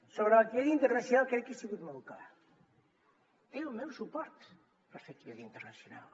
sobre la activitat internacional crec que he sigut molt clar té el meu suport per fer activitat internacional